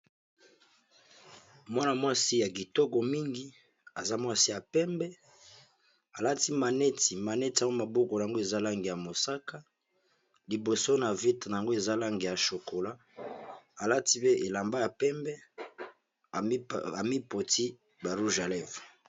mwana mwasi ya kitoko mingi aza mwasi ya pembe alati maneti maneti yango maboko na yango eza langi ya mosaka liboso na vitre na yango eza langi ya chokola alati pe elamba ya pembe amipakuli ba rouge ya levres.